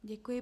Děkuji.